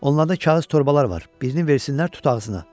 Onlarda kağız torbalar var, birini versinlər tut ağzını.